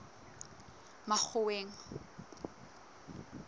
makgoweng